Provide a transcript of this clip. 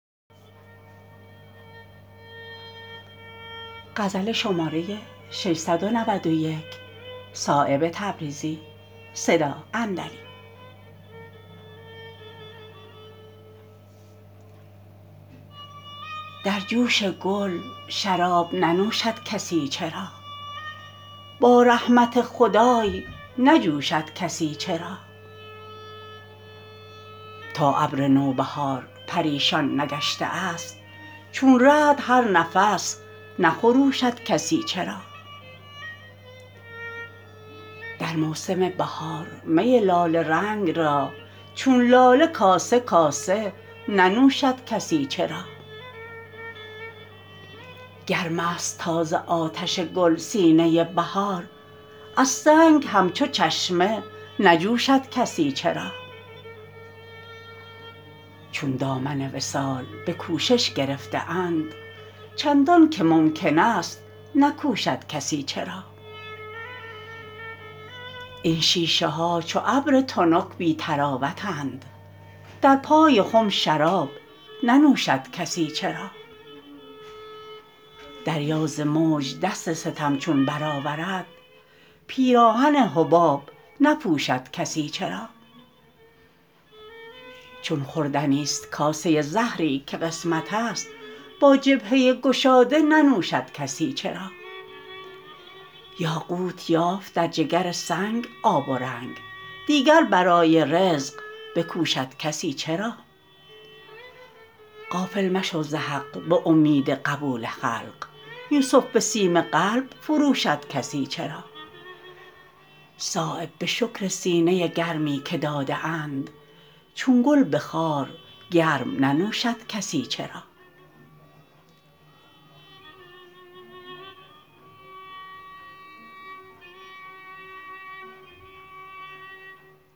در جوش گل شراب ننوشد کسی چرا با رحمت خدای نجوشد کسی چرا تا ابر نوبهار پریشان نگشته است چون رعد هر نفس نخروشد کسی چرا در موسم بهار می لاله رنگ را چون لاله کاسه کاسه ننوشد کسی چرا گرم است تا ز آتش گل سینه بهار از سنگ همچو چشمه نجوشد کسی چرا چون دامن وصال به کوشش گرفته اند چندان که ممکن است نکوشد کسی چرا این شیشه ها چو ابر تنک بی طراوتند در پای خم شراب ننوشد کسی چرا دریا ز موج دست ستم چون برآورد پیراهن حباب نپوشد کسی چرا چون خوردنی است کاسه زهری که قسمت است با جبهه گشاده ننوشد کسی چرا یاقوت یافت در جگر سنگ آب و رنگ دیگر برای رزق بکوشد کسی چرا غافل مشو ز حق به امید قبول خلق یوسف به سیم قلب فروشد کسی چرا صایب به شکر سینه گرمی که داده اند چون گل به خار گرم نجوشد کسی چرا